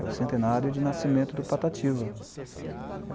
É o centenário de nascimento do Patativa.